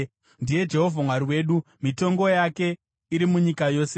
Ndiye Jehovha Mwari wedu; mitongo yake iri munyika yose.